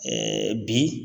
bi